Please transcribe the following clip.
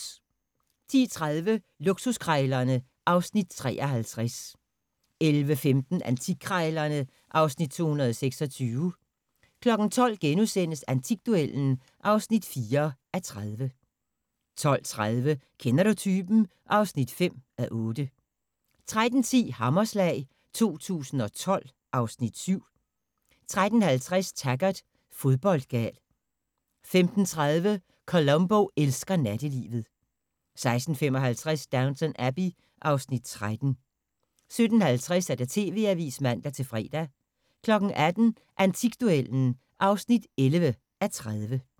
10:30: Luksuskrejlerne (Afs. 53) 11:15: Antikkrejlerne (Afs. 226) 12:00: Antikduellen (4:30)* 12:30: Kender du typen? (5:8) 13:10: Hammerslag 2012 (Afs. 7) 13:50: Taggart: Fodboldgal 15:30: Columbo elsker nattelivet 16:55: Downton Abbey (Afs. 13) 17:50: TV-avisen (man-fre) 18:00: Antikduellen (11:30)